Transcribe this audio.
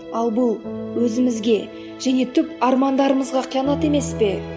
ал бұл өзімізге және түп армандарымызға қиянат емес пе